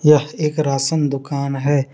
यह एक राशन दुकान है।